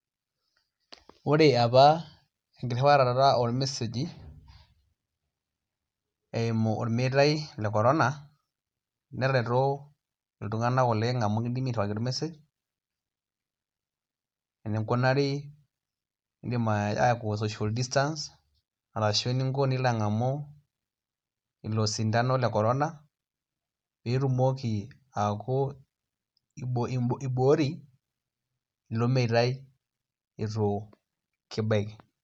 Ore apa enkirriwarata ormeseji eimu ormeita le Corona netareto lltung'anak amu kidimi airriwaki ormesej eninkunari niidim aashom social distance ashu eninko pee ilo ang'amu ilo sindano le Corona pee itumoki aaku imbooyie ilo meitai itu kibaiki.